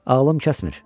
Ağlım kəsmir.